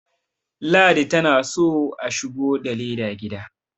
ladi tana so a shigo da leda gida